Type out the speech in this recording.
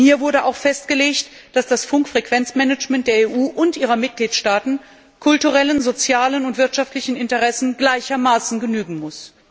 Denn hier wurde auch festgelegt, dass das Funkfrequenzmanagement der EU und ihrer Mitgliedstaaten kulturellen, sozialen und wirtschaftlichen Interessen gleichermaßen genügen muss.